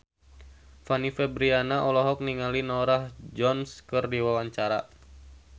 Fanny Fabriana olohok ningali Norah Jones keur diwawancara